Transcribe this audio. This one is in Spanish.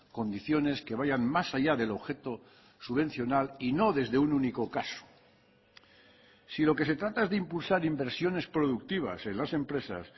condiciones que vayan más allá del objeto subvencional y no desde un único caso si lo que se trata es de impulsar inversiones productivas en las empresas